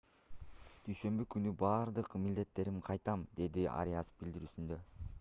дүйшөмбү күнү бардык милдеттериме кайтам - деди ариас билдирүүсүндө